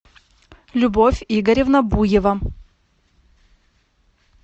любовь игоревна буева